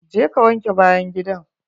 Je ka wanke bayan gidan!